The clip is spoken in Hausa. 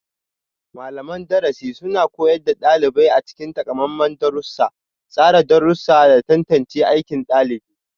Malaman darasi suna koyar da ɗalibai a cikin takamaiman darussa, tsara darussa, da tantance aikin ɗalibi.